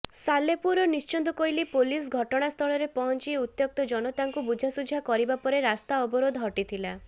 ସାଲେପୁର ଓ ନିଶ୍ଚିନ୍ତକୋଇଲି ପୁଲିସ ଘଟଣାସ୍ଥଳରେ ପହଞ୍ଚି ଉତ୍ତ୍ୟକ୍ତ ଜନତାଙ୍କୁ ବୁଝାସୁଝା କରିବା ପରେ ରାସ୍ତା ଅବରୋଧ ହଟିଥିଲା